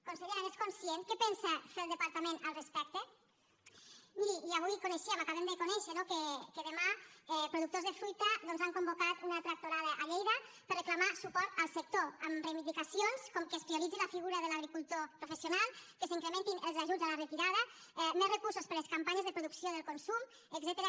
consellera n’és conscient què pensa fer el departament al respecte miri i avui coneixíem ho acabem de conèixer no que demà productors de fruita doncs han convocat una tractorada a lleida per reclamar suport al sector amb reivindicacions com que es prioritzi la figura de l’agricultor professional que s’incrementin els ajuts a la retirada més recursos per a les campanyes de producció del consum etcètera